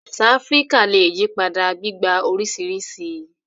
Àṣà Áfíríkà lè yí padà, gbígba oríṣiríṣi